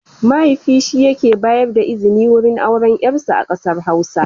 Mahaifi shi yake bayar da izini wurin auren yarsa a kasar Hausa.